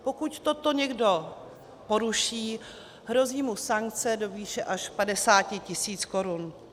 Pokud toto někdo poruší, hrozí mu sankce do výše až 50 tis. korun.